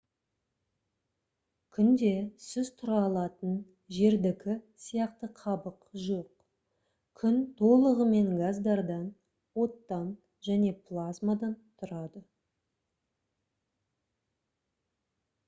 күнде сіз тұра алатын жердікі сияқты қабық жоқ күн толығымен газдардан оттан және плазмадан тұрады